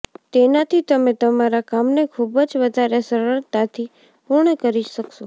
તેનાથી તમે તમારા કામને ખૂબ જ વધારે સરળતાથી પૂર્ણ કરી શકશો